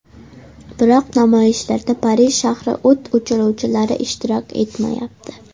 Biroq namoyishlarda Parij shahri o‘t o‘chiruvchilari ishtirok etmayapti.